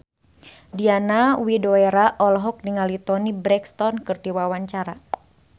Diana Widoera olohok ningali Toni Brexton keur diwawancara